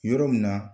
Yɔrɔ min na